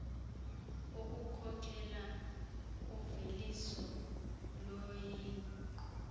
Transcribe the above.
ukukhokhela uveliso loqingqo